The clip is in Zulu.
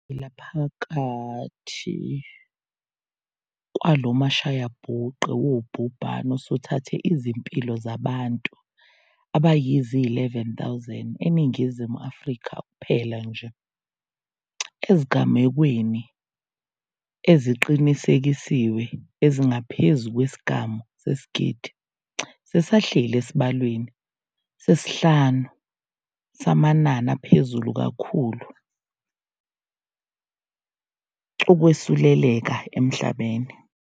Sisaphila phakathi kwalo mashayabhuqe wobhubhane osuthathe izimpilo zabantu abayizi-11 000 eNingizimu Afrika kuphela nje. Ezigamekweni eziqinisekisiwe ezingaphezu kwesigamu sesigidi, sisahleli esibalweni sesihlanu samanani aphezulu kakhulu okwesuleleka emhlabeni.